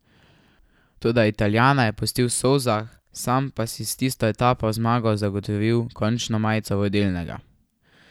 Toda Italijana je pustil v solzah, sam pa si s tisto etapno zmago zagotovil končno majico vodilnega.